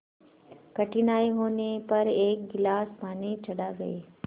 कठिनाई होने पर एक गिलास पानी चढ़ा गए